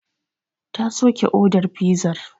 Ta soke odar fizar.